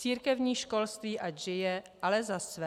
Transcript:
Církevní školství ať žije, ale za své.